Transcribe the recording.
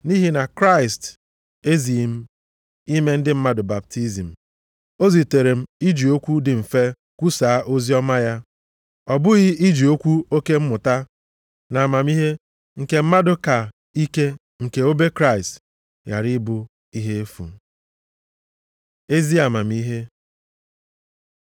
Nʼihi na Kraịst ezighị m ime ndị mmadụ baptizim. O zitere m iji okwu dị mfe kwusaa oziọma ya. Ọ bụghị iji okwu oke mmụta na amamihe nke mmadụ ka ike nke obe Kraịst ghara ịbụ ihe efu. Ezi amamihe